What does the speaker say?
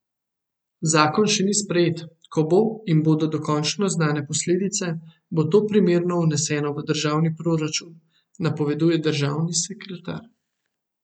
Zakon še ni sprejet, ko bo in bodo dokončno znane posledice, bo to primerno vneseno v državni proračun, napoveduje državni sekretar.